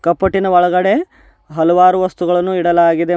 ಕಪಟಿನ ಒಳಗಡೆ ಹಲವಾರು ವಸ್ತುಗಳನ್ನು ಇಡಲಾಗಿದೆ ಮ--